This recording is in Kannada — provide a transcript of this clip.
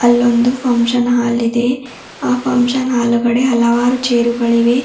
ಅಲ್ಲೊಂದು ಫಂಕ್ಷನ್ ಹಾಲ್ ಇದೆ ಆ ಫಂಕ್ಷನ್ ಹಾಲ್ ಗಡೆ ಹಲವಾರು ಚೇರು ಗಳಿವೆ.